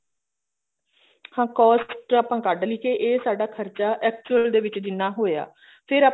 ਹਾਂ cost ਤੇ ਆਪਾਂ ਕੱਢਲੀ ਕੇ ਇਹ ਸਾਡਾ ਖਰਚਾ actual ਚ ਜਿੰਨਾ ਹੋਇਆ ਫੇਰ